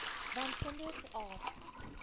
want kinders aap